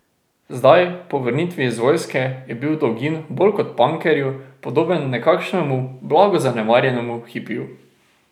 Zdaj, po vrnitvi iz vojske, je bil dolgin bolj kot pankerju podoben nekakšnemu blago zanemarjenemu hipiju.